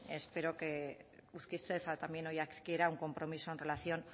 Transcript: espero que usted adquiera un compromiso en relación